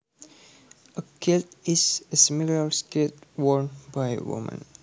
A kilt is a similar skirt worn by women